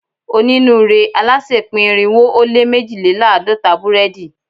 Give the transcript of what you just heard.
Onínúure alásè pín irinwo ó lé mejilelaadọta burẹdi